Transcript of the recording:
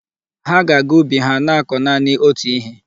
Ha ga-aga ubi ha na-akọ naanị otú ihe.